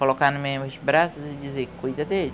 Colocar no meus dos braços e dizer, ''cuida dele.''